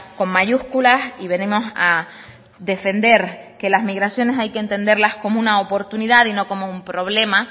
con mayúsculas y venimos a defender que la migración hay que entenderla como una oportunidad y no como un problema